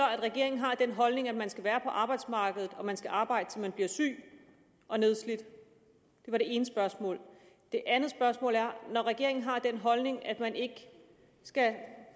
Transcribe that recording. at regeringen har den holdning at man skal være på arbejdsmarkedet og man skal arbejde til man bliver syg og nedslidt det var det ene spørgsmål det andet spørgsmål er når regeringen har den holdning at man ikke skal